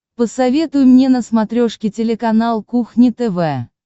посоветуй мне на смотрешке телеканал кухня тв